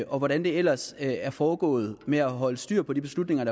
og hvordan det ellers er foregået med at holde styr på de beslutninger